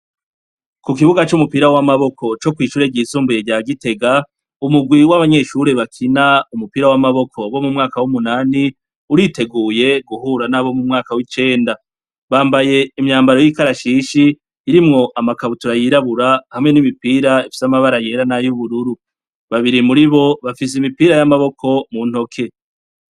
Ku kibuga c'umupira w'amaboko co kw'ishure ryisumbuye rya Gitega, umugwi w'abanyeshure bakina umupira w'amaboko bo mu mwaka w'umunani uriteguye guhura n'abo mu mwaka w'icenda. Bambaye imyambaro y'ikarashishi irimwo amakabutura yirabura hamwe n'imipira ifise amabara yera n'ay'ubururu. Babiri muri bo bafise imipira y'amaboko muntoke.